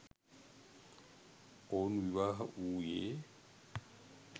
ඔවුන් විවාහ වූයේ